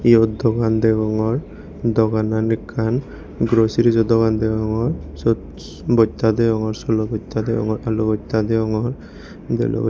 eyot dokan degongor doganan ekkan goroserejo dogan degongor siyot botta degongor solo bosta degongor alu bosta degongor delo.